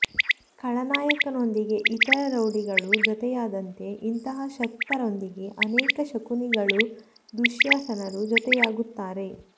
ಖಳನಾಯಕನೊಂದಿಗೆ ಇತರ ರೌಡಿಗಳು ಜೊತೆಯಾದಂತೆ ಇಂತಹ ಶಕ್ತರೊಂದಿಗೆ ಅನೇಕ ಶಕುನಿಗಳೂ ದುಶ್ಯಾಸನರೂ ಜೊತೆಯಾಗುತ್ತಾರೆ